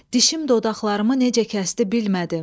Dişim dodaqlarımı necə kəsdi bilmədim.